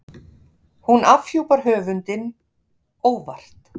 Hún afhjúpar höfundinn- óvart.